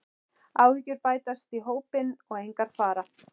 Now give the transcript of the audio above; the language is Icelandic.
Áhyggjur bætast í hópinn og engar fara.